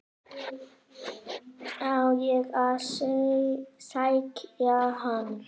Á ég að sækja hann?